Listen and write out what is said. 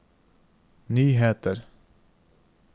nyheter